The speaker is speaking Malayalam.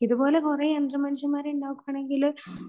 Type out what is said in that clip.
ഇതുപോലെ കുറെ യന്ത്ര മനുഷ്യന്മാരെ ഉണ്ടാക്കുകയാണെങ്കിൽ